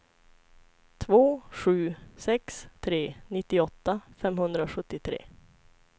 två sju sex tre nittioåtta femhundrasjuttiotre